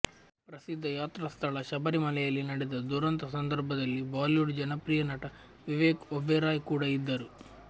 ಪ್ರಸಿದ್ಧ ಯಾತ್ರಾಸ್ಥಳ ಶಬರಿಮಲೆಯಲ್ಲಿ ನಡೆದ ದುರಂತ ಸಂದರ್ಭದಲ್ಲಿ ಬಾಲಿವುಡ್ ಜನಪ್ರಿಯ ನಟ ವಿವೇಕ್ ಒಬೆರಾಯ್ ಕೂಡ ಇದ್ದರು